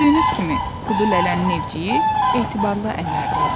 Gördüyünüz kimi, Kudu Lələnin evciyi etibarlı əllərdə idi.